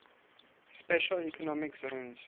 special economic zones